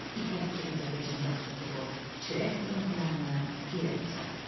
İpək kimi ovucunda tutduğu çörək qırıntılarını irəli uzatdı.